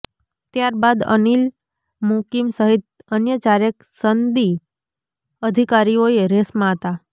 ત્યારબાદ અનિલ મુકિમ સહિત અન્ય ચારેક સનદી અિધકારીઓએ રેસમાં હતાં